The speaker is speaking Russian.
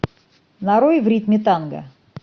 нарой в ритме танго